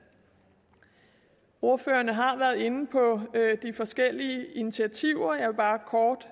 ordførerne har været inde på de forskellige initiativer og jeg vil bare kort